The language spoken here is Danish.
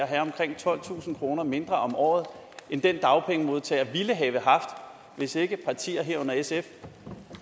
have omkring tolvtusind kroner mindre om året end den dagpengemodtager ville have haft hvis ikke partier herunder sf